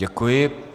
Děkuji.